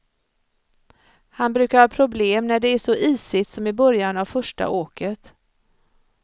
Han brukar ha problem, när det är så isigt som i början av första åket.